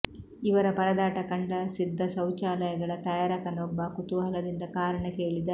ಇವರ ಪರದಾಟ ಕಂಡ ಸಿದ್ಧ ಶೌಚಾಲಯಗಳ ತಯಾರಕನೊಬ್ಬ ಕುತೂಹಲದಿಂದ ಕಾರಣ ಕೇಳಿದ